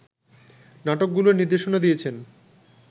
নাটকগুলোর নির্দেশনা দিয়েছেন